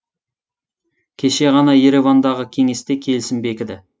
кеше ғана еревандағы кеңесте келісім бекіді